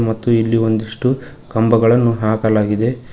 ಮತ್ತು ಇಲ್ಲಿ ಒಂದಿಷ್ಟು ಕಂಬಗಳನ್ನು ಹಾಕಲಾಗಿದೆ.